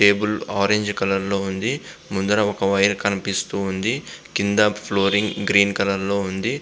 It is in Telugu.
టేబుల్ ఆరంజ్ కలర్ లో ఉంది. ముందు ఒక వైర్ కనిపిస్తుంది.కింద ఫ్లోర్ గ్రీన్ కలర్ లో ఉంది.